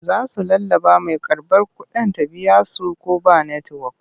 Za su lallaɓa mai karɓar kuɗin ta biya su ko ba netiwok.